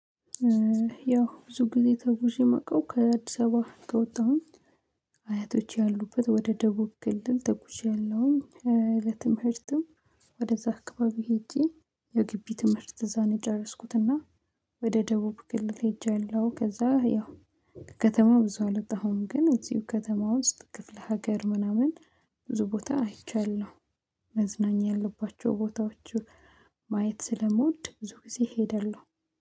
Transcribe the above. ያው ብዙ ጊዜ ተጉዤ እማውቅው ከአዲስ አበባ ከወጣሁ አያቶች ያሉበት ወደ ደቡብ ክልል ትጉዣልሁ። ለትምህርትም ወደዛ አካባቢ ሄጄ የግቢ ትምህርት እዛ ነው የጨረስኩትና። ወደ ደቡብ ግልጽ ሄጃለሁ ከዛ ያው ከከተማ ብዙ አለበት ግን እዚሁ ከተማ ውስጥ ክፍለ ሀገር ምናምን ብዙ ቦታ አይቻለሁ። መዝናኛ ያለባቸው ቦታዎች ማየት ስለምወድ ብዙ ጊዜ ሄደለሁ